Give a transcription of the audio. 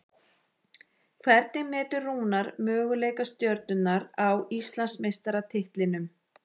Hvernig metur Rúnar möguleika Stjörnunnar á Íslandsmeistaratitlinum?